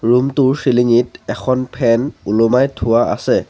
Room টোৰ ceiling ঙিত এখন ফেন ওলোমাই থোৱা আছে।